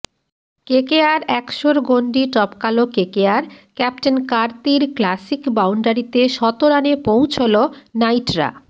KKR একশোর গণ্ডি টপকাল কেকেআর ক্যাপ্টেন কার্তির ক্ল্যাসিক বাউন্ডারিতে শতরানে পৌঁছল নাইটরা